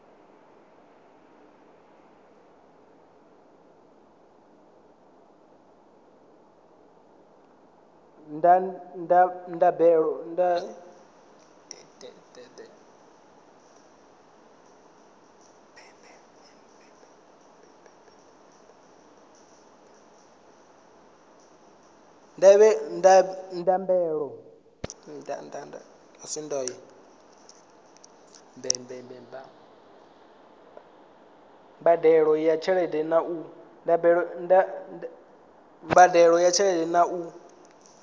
mbadelo ya tshelede na u